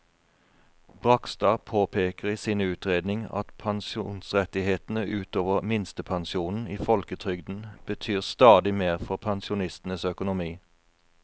Bragstad påpeker i sin utredning at pensjonsrettighetene ut over minstepensjonen i folketrygden betyr stadig mer for pensjonistenes økonomi.